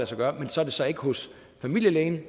sig gøre så er det så ikke hos familielægen